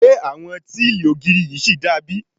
Ṣé àwọn tíìlì ògiri yìí ṣì da bí?